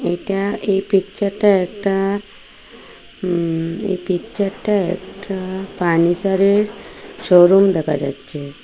এটা এই পিকচার -টা একটা উম এই পিকচার -টা একটা পানিসার -এর শোরুম দেখা যাচ্ছে।